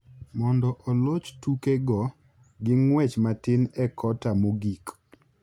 mondo oloch tukego gi ng’wech matin e kota mogik.